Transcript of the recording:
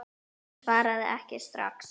Hún svaraði ekki strax.